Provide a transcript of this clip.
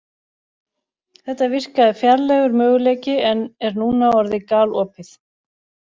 Þetta virkaði fjarlægur möguleiki en er núna orðið galopið.